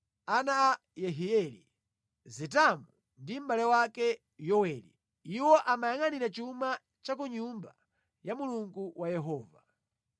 ana a Yehieli, Zetamu ndi mʼbale wake Yoweli. Iwo amayangʼanira chuma cha ku Nyumba ya Mulungu wa Yehova.